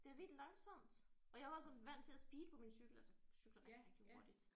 Det er vildt langsomt og jeg var sådan vant til at speede på min cykel altså cykle rigtig rigtig hurtigt